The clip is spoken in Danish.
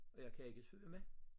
Og jeg kan ikke svømme